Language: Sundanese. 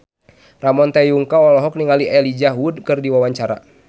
Ramon T. Yungka olohok ningali Elijah Wood keur diwawancara